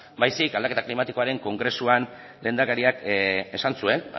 baizik eta aldaketa klimatikoaren kongresuan lehendakariak esan zuen